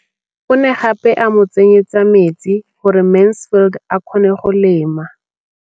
O ne gape a mo tsenyetsa metsi gore Mansfield a kgone go lema.